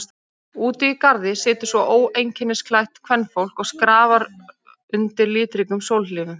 Úti í garði situr svo óeinkennisklætt kvenfólk og skrafar undir litríkum sólhlífum.